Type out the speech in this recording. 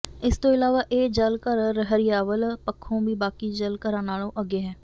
ਇਸ ਤੋਂ ਇਲਾਵਾ ਇਹ ਜਲ ਘਰ ਹਰਿਆਵਲ ਪੱਖੋਂ ਵੀ ਬਾਕੀ ਜਲ ਘਰਾਂ ਨਾਲੋਂ ਅੱਗੇ ਹੈ